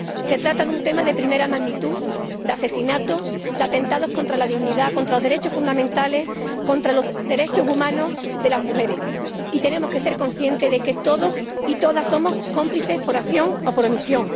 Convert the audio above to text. Se trata de un tema de primera magnitud, de asesinatos, de atentados contra la dignidad, contra los derechos fundamentales, contra los derechos humanos de las mujeres. Y tenemos que ser conscientes de que todos y todas somos cómplices por acción o por omisión.